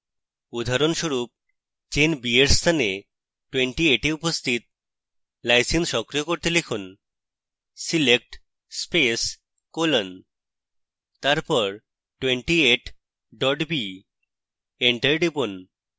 উদাহরণস্বরূপ chain b for স্থানে 28 এ উপস্থিত lysine সক্রিয় করতে লিখুন select space colon তারপর 28 dot b enter টিপুন